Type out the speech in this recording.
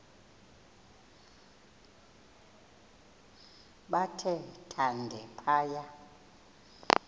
bathe thande phaya